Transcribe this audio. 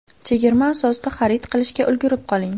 Chegirma asosida xarid qilishga ulgurib qoling!